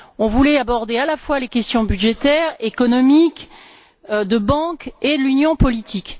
On voulait aborder, à la fois, les questions budgétaires, économiques, bancaires et l'union politique.